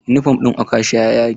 Yunifom ɗin okasha ya yage.